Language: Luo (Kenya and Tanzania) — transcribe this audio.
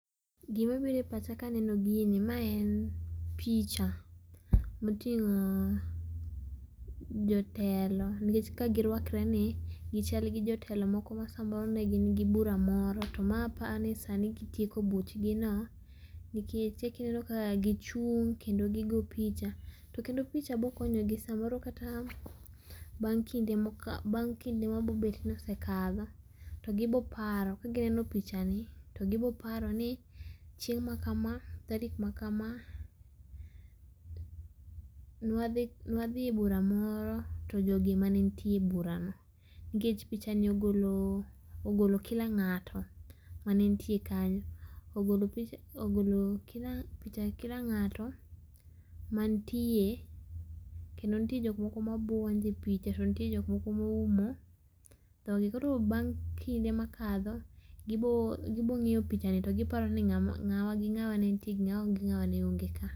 Gima biro e pacha ka aneno gini, ma en picha moting'o jotelo nikech kaka girwakre ni gichal gi jotelo moko ma samoro ne gin gi bura moro to maa apani sani gitieko buchgi no, nikech eka ineno ka gichung' kendo gigoo picha to kendo picha bokonyogi samoro kata bang kinde moka, bang' kinde mabo bet ka osekalo to gibo paro ka gineno pichani, to gibo paroni chieng ma kama, tarik ma kamaaa nwadhi nwadhi e bura moro to jogi ema ne nitie e bura no nikech pichani ogolo kila ng'ato mane nitie kanyo, ogolo pila, ogolo kila ng'ato ma nitie kendo nitie jok moko ma buonjo e picha to nitie jok moko ma oumo dhog gi koro bang' kinde makadho gibiro ng'iyo picha kendo giparo ng'awa gi ng'awa mane nitiere to ng'awa gi ngawa mane onge ka